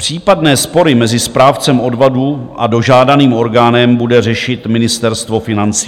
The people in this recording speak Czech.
Případné spory mezi správcem odvodů a dožádaným orgánem bude řešit Ministerstvo financí.